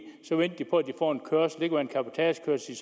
kørsel og en cabotagekørsel